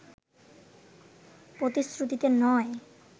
প্রতিশ্রুতিতে নয়